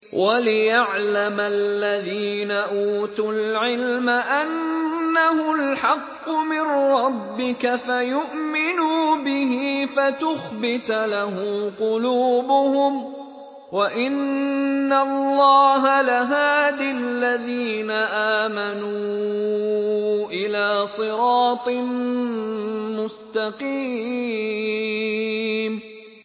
وَلِيَعْلَمَ الَّذِينَ أُوتُوا الْعِلْمَ أَنَّهُ الْحَقُّ مِن رَّبِّكَ فَيُؤْمِنُوا بِهِ فَتُخْبِتَ لَهُ قُلُوبُهُمْ ۗ وَإِنَّ اللَّهَ لَهَادِ الَّذِينَ آمَنُوا إِلَىٰ صِرَاطٍ مُّسْتَقِيمٍ